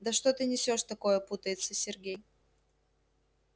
да что ты несёшь такое путается сергей